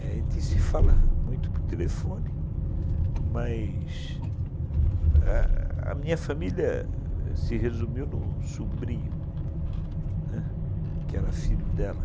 A gente se fala muito por telefone, mas a minha família se resumiu num sobrinho, que era filho dela.